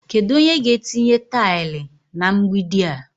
Kedu onye ga-etinye taịlị na mgbidi a?